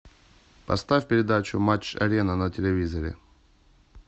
поставь передачу матч арена на телевизоре